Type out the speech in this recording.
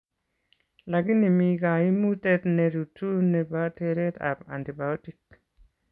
Lakini mii kaimutet nerutuu nebo tereet ab antibiotic